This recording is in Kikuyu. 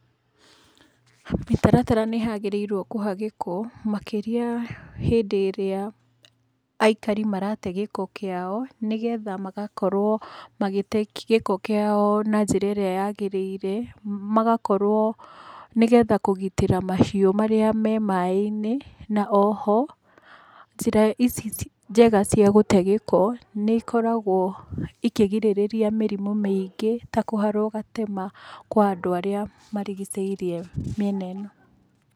Mĩtaratara nĩ yagĩrĩirwo kũhagĩkwo makĩria hĩndĩ ĩrĩa aikari marate gĩko kĩao nĩgetha magakorwo magĩte gĩko kĩao na njĩra ĩrĩa yagĩrĩire, magakorwo nĩgetha kũgitĩra mahiũ marĩa me maĩ-inĩ. Na oho, njĩra ici njega cia gũte gĩko, nĩ ikoragwo ikĩgirĩrĩria mĩrimũ mĩingĩ ta kũharwo gatema kwa andũ arĩa marigicĩirie mĩena ĩno.